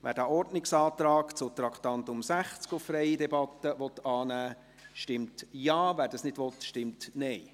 Wer den Ordnungsantrag zu Traktandum 60 auf freie Debatte annehmen will, stimmt Ja, wer dies nicht will, stimmt Nein.